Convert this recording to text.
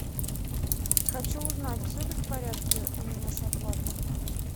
хочу узнать все ли в порядке у меня с оплатой